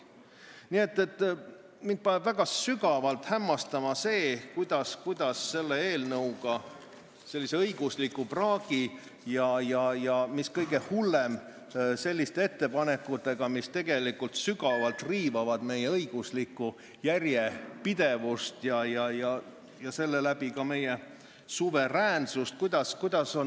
Nii et mind väga sügavalt hämmastab see, kuidas on võimalik, et valitsus tuleb Riigikokku sellise eelnõuga, sellise õigusliku praagiga, kõige hullem, selliste ettepanekutega, mis sügavalt riivavad meie õiguslikku järjepidevust ja seeläbi ka meie suveräänsust.